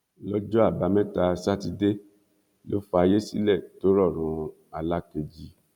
lọ́jọ́ àbámẹ́ta sátidé ló fayé sílẹ̀ tó rọ̀run alákeji